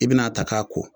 I bɛna a ta k'a ko